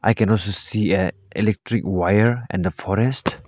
i can also see a electric wire and the forest.